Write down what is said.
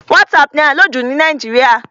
WhatsApp ni à ń lò jù ní Nàìjíríà.